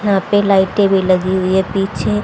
यहां पर लाइटें भी लगी हुई है पीछे।